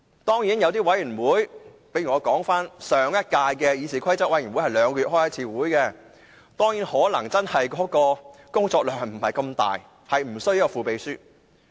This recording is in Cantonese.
當然，就一些委員會，例如上屆議事規則委員會是每兩個月才開會一次，工作量不是太大，便無須副秘書。